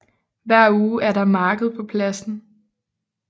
Hver uge er der marked på pladsen